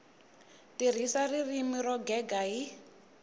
tirhisa ririmi ro gega hi